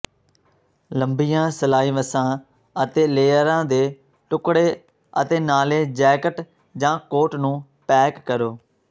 ਲੰਬੀਆਂ ਸਲਾਈਵਸਾਂ ਅਤੇ ਲੇਅਰਾਂ ਦੇ ਟੁਕੜੇ ਅਤੇ ਨਾਲੇ ਜੈਕਟ ਜਾਂ ਕੋਟ ਨੂੰ ਪੈਕ ਕਰੋ